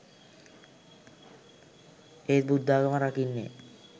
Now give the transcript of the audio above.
ඒත් බුද්ධාගම රකින්නේ